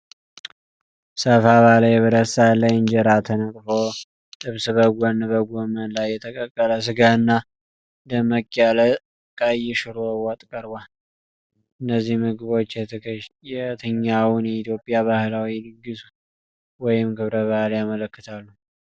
ሰፋ ባለ የብረት ሳህን ላይ እንጀራ ተነጥፎ ጥብስ፣ በጎን ከጎመን ጋር የተቀቀለ ሥጋና ደምቅ ያለ ቀይ ሹሮ ወጥ ቀርቧል። እነዚህ ምግቦች የትኛውን የኢትዮጵያ ባህላዊ ድግስ ወይም ክብረ በዓል ያመለክታሉ?